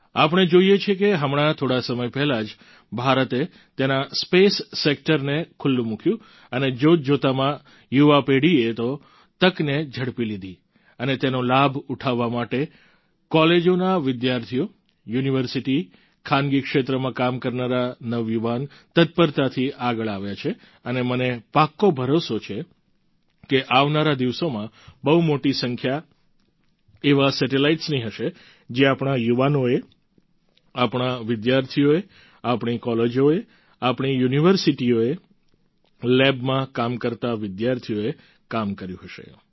આપણે જોઈએ છીએ કે હમણાં થોડા સમય પહેલાં જ ભારતે તેના સ્પેસ સેક્ટરને ખૂલ્લું મૂક્યું અને જોતજોતામાં યુવા પેઢીએ તે તકને ઝડપી લીધી અને તેનો લાભ ઉઠાવવા માટે કોલેજોના વિદ્યાર્થીઓ યુનિવર્સિટી ખાનગી ક્ષેત્રમાં કામ કરનારા નવયુવાન તત્પરતાથી આગળ આવ્યા છે અને મને પાક્કો ભરોસો છે કે આવનારા દિવસોમાં બહુ મોટી સંખ્યા એવા સેટેલાઈટ્સની હશે જે આપણા યુવાનોએ આપણા વિદ્યાર્થીઓએ આપણી કોલેજોએ આપણી યુનિવર્સિટીઓએ લેબમાં કામ કરતા વિદ્યાર્થીઓએ કામ કર્યું હશે